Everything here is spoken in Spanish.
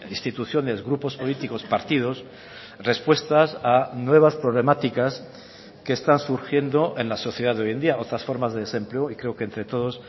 instituciones grupos políticos partidos respuestas a nuevas problemáticas que están surgiendo en la sociedad de hoy en día otras formas de desempleo y creo que entre todos